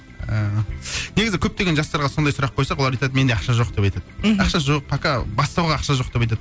ыыы негізі көптеген жастарға сондай сұрақ қойсақ олар айтады менде ақша жоқ деп айтады мхм ақша жоқ пока бастауға ақша жоқ деп айтады